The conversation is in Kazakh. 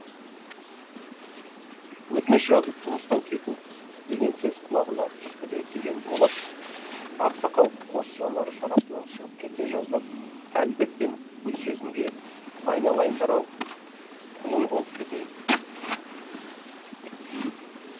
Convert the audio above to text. өтініш жазып жұмыстан кету деген сөз құлағына түрпідей тиген болат ақсақал қос жанары шарасынан шығып кете жаздап әлібек пен гүлсезімге айналайындар ау құлың болып кетейін